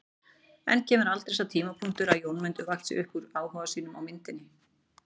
En kemur aldrei sá tímapunktur að Jórmundur vaxi upp úr áhuga sínum á myndinni?